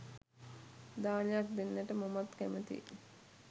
දානයක් දෙන්නට මමත් කැමතියි.